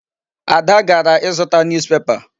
Ada gara ịzụta newspaper.